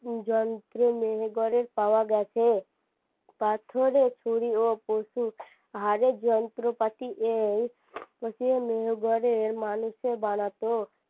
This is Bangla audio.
উম যন্ত্রে মেহেরগড়ের পাওয়া গেছে পাথরের ছুরি পশু হারের যন্ত্রপাতি এই মেহেরগড়ের মানুষে বানাতো